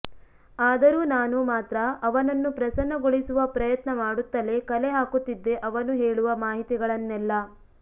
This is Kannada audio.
ಆದರೂ ನಾನು ಮಾತ್ರ ಅವನನ್ನು ಪ್ರಸನ್ನ ಗೊಳಿಸುವ ಪ್ರಯತ್ನ ಮಾಡುತ್ತಲೇ ಕಲೆ ಹಾಕುತ್ತಿದ್ದೆ ಅವನು ಹೇಳುವ ಮಾಹಿತಿಗಳನ್ನೆಲ್ಲ